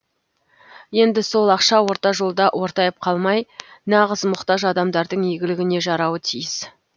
енді сол ақша орта жолда ортайып қалмай нағыз мұқтаж адамдардың игілігіне жарауы тиіс